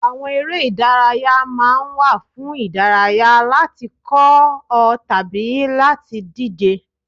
Àwọn eré ìdárayá ma ń wà fún ìdárayá, láti kọ́ ọ tàbí láti díje.